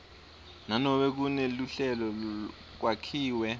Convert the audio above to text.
nanobe kuneluhlelo kwakhiwe